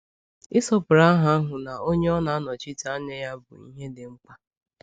Ịsọpụrụ aha ahụ na Onye ọ na-anọchite anya ya bụ ihe dị mkpa.